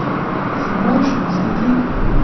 Si moreš misliti?